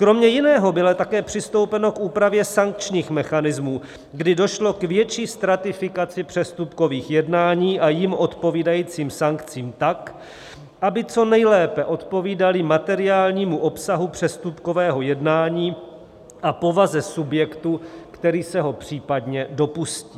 Kromě jiného bylo také přistoupeno k úpravě sankčních mechanismů, když došlo k větší stratifikaci přestupkových jednání a jim odpovídajícím sankcím tak, aby co nejlépe odpovídaly materiálnímu obsahu přestupkového jednání a povaze subjektu, který se ho případně dopustí.